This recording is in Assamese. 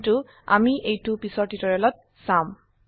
কিন্তু আমি এইটো পিছৰ টিউটোৰিয়েলত চাম